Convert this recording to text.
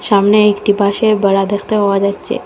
সামনে একটি বাঁশের বেড়া দেখতে পাওয়া যাচ্ছে।